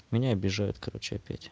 меня обижают короче опять